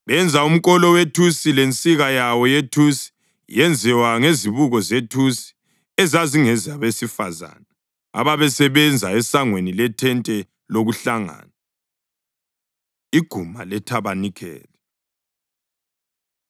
Benza umkolo wethusi lensika yawo yethusi yenziwa ngezibuko zethusi ezazingezabesifazane ababesebenza esangweni lethente lokuhlangana. Iguma Lethabanikeli